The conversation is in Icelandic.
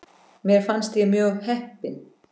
Mér fannst ég mjög heppin.